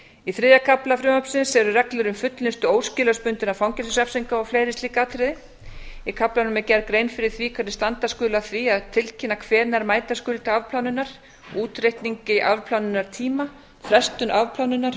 í þriðja kafla frumvarpsins eru reglur um fullnustu óskilorðsbundinna fangelsisrefsinga og fleiri slík atriði í kaflanum er gerð grein fyrir því hvernig standa skuli að því að tilkynna hvenær mæta skuli til afplánunar útreikningi afplánunartíma frestun afplánunar